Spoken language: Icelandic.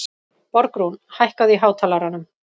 Borgrún, hækkaðu í hátalaranum.